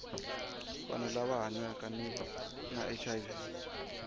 vanhu lava hanyaka na hiv